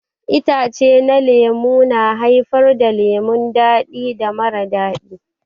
Itace na lemu na haifar da lemu dadi da mara dadi.